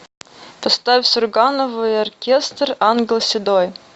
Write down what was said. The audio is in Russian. поставь сурганову и оркестр ангел седой